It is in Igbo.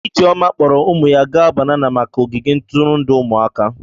Ijeoma kpọọrọ ụmụ ya gaa banana maka ogige ntụrụndụ ụmụaka.